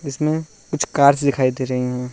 जिसमें कुछ कार्स दिखाई दे रही हैं।